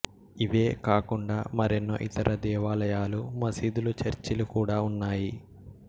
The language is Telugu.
ఇవే కాకుండా మరెన్నో ఇతర దేవాలయాలు మసీదులు చర్చిలు కూడా ఉన్నాయి